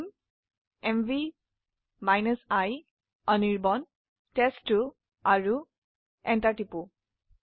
লিখক M V i Anirban test two আৰু Enter টিপক